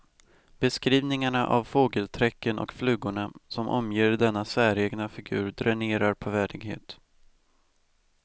Beskrivningarna av fågelträcken och flugorna som omger denna säregna figur dränerar på värdighet.